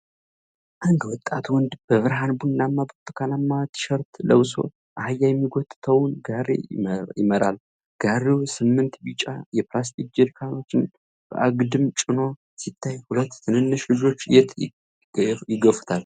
አንድ ወጣት ወንድ በብርሃን ቡናማና ብርቱካናማ ቲሸርት ለብሶ አህያ የሚጎትተውን ጋሪ ይመራል። ጋሪው ስምንት ቢጫ የፕላስቲክ ጀሪካኖችን በአግድም ጭኖ ሲታይ፣ ሁለት ትንንሽ ልጆች የት ይገፉታል?